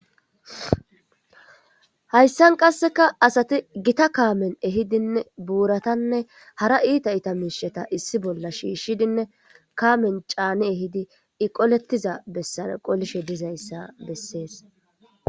Hayssan qasseka asati gitta kaamen ehidinne buuratanne hara itta itta miisheta issi bolla shiishshidinne kaamen caani ehidi iqolettiza bessan qolishe dizayssa bessees